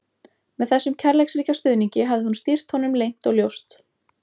Með þessum kærleiksríka stuðningi hafði hún stýrt honum leynt og ljóst.